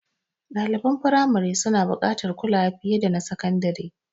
Ɗaliban firamari suna buƙatar kulawa fiye da na sakandare.